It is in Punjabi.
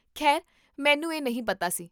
ਖੈਰ ਮੈਨੂੰ ਇਹ ਨਹੀਂ ਪਤਾ ਸੀ